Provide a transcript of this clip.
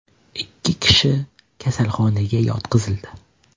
Ikki kishi kasalxonaga yotqizildi.